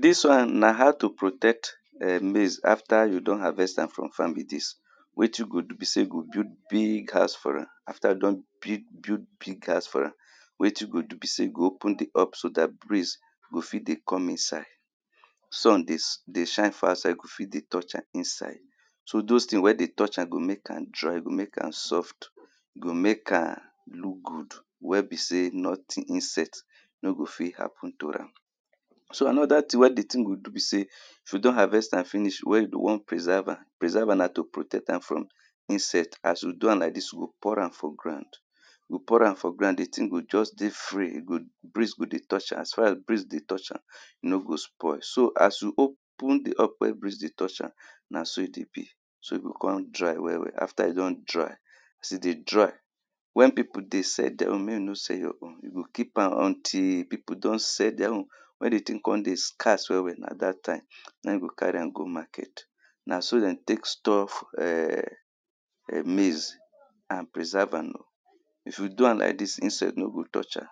Dis one na how to protect um maize after you don harvest am from farm be dis Wetin you go do be sey, you go build big house for am. After you don builg big house for am wetin you do be sey you go open di up so dat breeze go fit dey come inside Sun dey shine for outside, go fit dey touch am inside So those things wey dey touch am go make am dry, go make am soft go make am look good wey be sey nothing insect no go fit happen to am So another thing wey di thing go do be sey, if you don harvest finish, wey you be wan preserve am, preserve am na to protect am from insect as you do like dis, you go pour am for ground, you go pour am for ground, di things go just dey free breeze go dey touch am, as far as breeze dey touch am e no go spoil. So as you open di up wey breeze dey touch am na so e dey be, so e go come dry well well. After e don dry, as e dey dry wen people dey sell their own, make you no sell your own, you go keep am until people don sell their own wen di thing come dey scarce well well na dat time na you go carry am go market na so dem take store um maize and preserve am If you do am like dis, insect no go touch am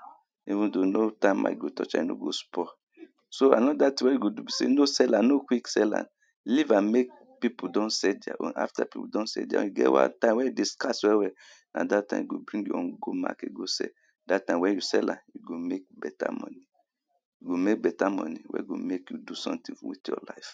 even though no termite go touch am, e no go spoil So another thing wey you do sey, no sell am, no quick sell, leave am make people don sell their own. After people don sell their own, e get one time wey e dey scarce well well na dat time you go bring your own go market go sell am. Dat time wen you sell you go make better money you go make better money wey go make you do something with your life